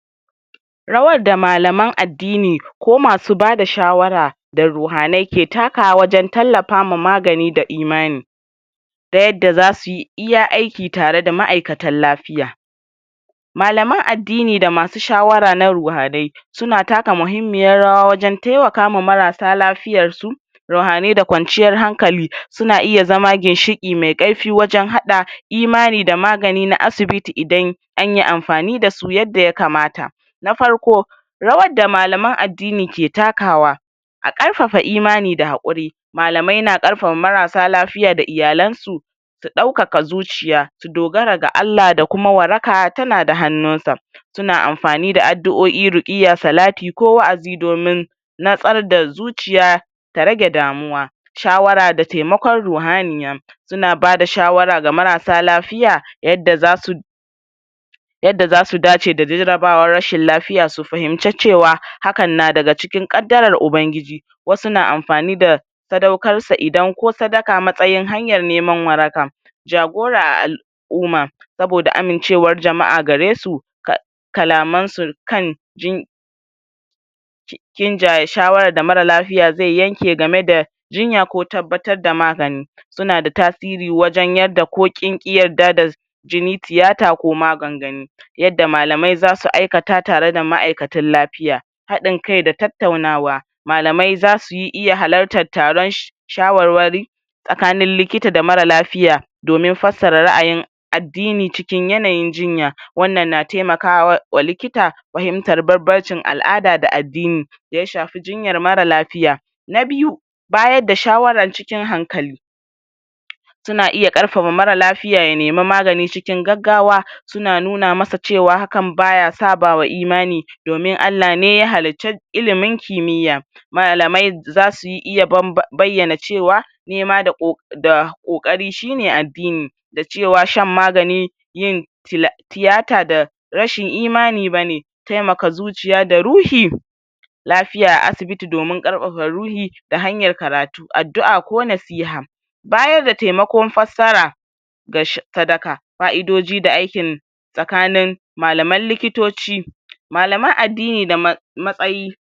Rawar da malaman addini ko masu bada shawara da ruhanai ke takawa wajen tallafama magani da imani ta yadda zasuyi iya aiki tareda ma'aikatan lafiya malaman addini da masu shawara na ruhanai suna taka muhimmiyar rawa wajen temakawa marasa lafiyarsu rauhanai da kwanciyar hankali suna iya zama ginshiƙi mai ƙarfi wajen haɗa imani da magani na asibiti idan anyi amfani dasu yadda ya kamata Na farko rawar da malaman addini ke takawa a ƙarfafa imani da haƙuri malamai na ƙarfa marasa lafiya da iyalansu su ɗaukaka zuciya su dogara ga Allah, da kuma waraka tana da hannunsa suna amfani da addu'o'i, ruƙiyya, salati ko wa'azi domin natsar da zuciya ta rage damuwa shawara da temakon ruhaniya suna bada shawara ga marasa lafiya, yadda zasu yadda zasu dace da jarabawar rashin lafiya, su fahinci cewa hakan na daga ƙaddarar ubangiji wasu na amfani da sadaukarsa idan ko sadaka matsayin hanyar neman waraka jagora a al'uma saboda amincewar jama'a garesu ka kalamansu kan, jin j, jinjaya shawarar da mara lafiya zai yanke gameda jinya ko tabbatar da magani sunada tasiri wajen yadda ko kinƙi yadda da jini, tiyata ko magangani yadda malamai zasu aikata tareda ma'aikatan lafiya Haɗin kai da tattaunawa malamai zasuyi iya halartar taron sh shawarwari tsakanin likita da mara lafiya domin fassara ra'ayin addini cikin yanayin jinya. Wannan na taimakawa wa likita fahimtar barbarcin al'ada da addini da ya shafi jinyar mara lafiya Na biyu bayadda shawaran cikin hankali suna iya ƙarfafa mara lafiya ya nemi magani cikin gaggawa suna nuna masa cewa hakan baya sabawa imani domin Allah ne ya halicci ilimin kimiyya malamai zasu iya ba bayyana cewa nema da ƙo da ƙoƙari shine addini da cewa shan magani yin til tiyata da rashin imani bane taimaka zuciya da ruhi lafiya a asibiti domin ƙarfafa ruhi da hanyar karatu, addu'a ko nasiha bayarda temakon fassara ga sh sadaka fa'idoji da aikin tsakanin malaman likitoci malaman addini da ma matsayi.